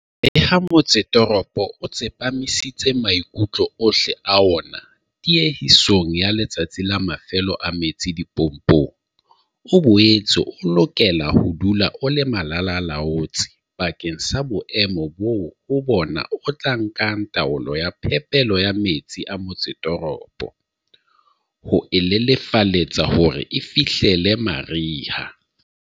Leha motsetoropo o tsepamisitse maikutlo ohle a wona tiehisong ya Letsatsi la Mafelo a metsi dipompong, o boetse o lokela ho dula o le malala-a-laotswe bakeng sa boemo boo ho bona o tla nka taolo ya phepelo ya metsi a motsetoropo, ho e lelefaletsa hore e fihlelle mariha.